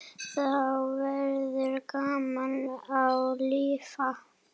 Þá verður gaman að lifa.